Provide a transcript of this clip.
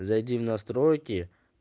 зайди в настройки